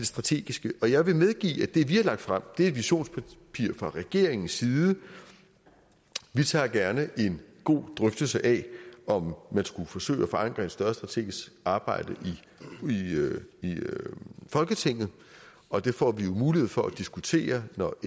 strategiske og jeg vil medgive at det vi har lagt frem er visionspapirer fra regeringens side vi tager gerne en god drøftelse af om man skulle forsøge at forankre et større strategisk arbejde i folketinget og det får vi jo mulighed for at diskutere når